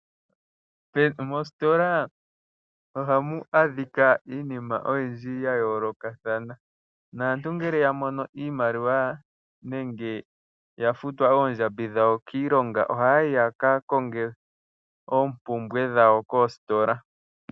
Mositola ohamu adhika iinima oyindji ya yoolokathana. Naantu ngele ya mono iimaliwa nenge ya futwa oondjambi dhawo kiilonga ohaya yi ya kakonge oompumbwe dhawo koositola.